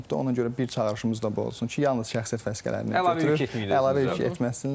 Ona görə bir çağırışımız da bu olsun ki, yalnız şəxsiyyət vəsiqələrini götürür, əlavə yük etməsinlər.